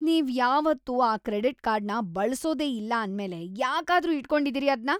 ನೀವ್‌ ಯಾವತ್ತೂ ಆ ಕ್ರೆಡಿಟ್‌ ಕಾರ್ಡ್‌ನ ಬಳ್ಸೋದೇ ಇಲ್ಲ ಅಂದ್ಮೇಲೆ ಯಾಕಾದ್ರೂ ಇಟ್ಕೊಂಡಿದೀರಿ ಅದ್ನ?